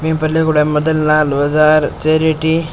ई पर लिखुङा है मदनलाल बजार चेरेटी ।